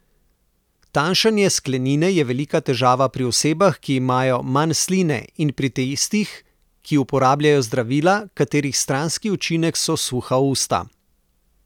Tanjšanje sklenine je velika težava pri osebah, ki imajo manj sline, in pri tistih, ki uporabljajo zdravila, katerih stranski učinek so suha usta.